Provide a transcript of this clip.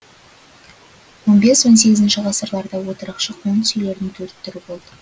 он бес он сегізінші ғасырларда отырықшы қоныс үйлердің төрт түрі болды